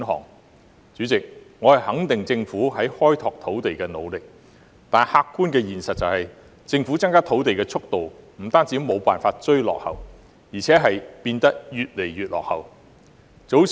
代理主席，我肯定政府開拓土地的努力，但客觀的現實是，政府增加土地的速度不單無法"追落後"，更是變得越來越落後。